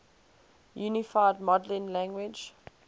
unified modeling language